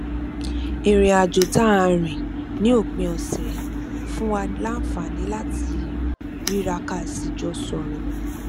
ìrìn àjò tá a rìn ní òpin òsè fún wa láǹfààní láti ríra ká sì jọ sòrò